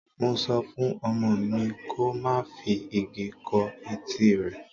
Mo sọ fún ọmọ mi ko má fi igi kó etí rẹ.